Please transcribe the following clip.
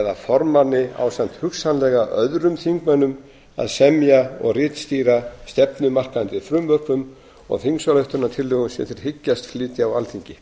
eða formanni ásamt hugsanlega öðrum þingmönnum að semja og ritstýra stefnumarkandi frumvörpum og þingsályktunartillögum sem þeir hyggjast flytja á alþingi